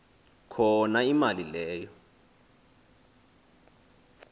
khona imali leyo